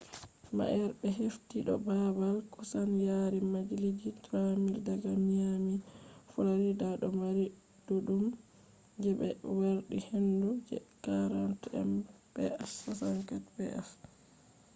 ma’ere be hefti do baabal kusan yari mailji 3,000 daga miami florida do mari ɗuɗɗum je ɓe yardi hendu je 40 mph 64kph